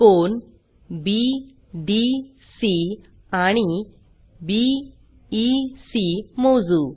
कोन BDC आणि BEC मोजू